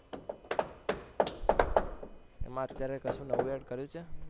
એમાં અત્યરે કશું નવું add કર્યું છે